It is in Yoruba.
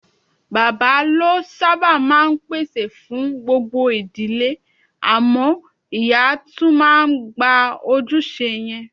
Bàbá ló sábà máa ń pèsè fún gbogbo ìdílé, àmọ́ ìyá tún máa ń gba ojúṣe yẹn.